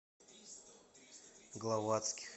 главатских